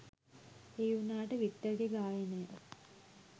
ඒ වුණාට වික්ටර්ගෙ ගායනය